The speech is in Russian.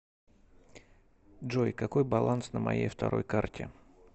джой какой баланс на моей второй карте